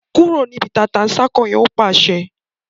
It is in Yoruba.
kúrò níbi “tata-n-sánkọ̀” yẹn! Ó pàṣẹ.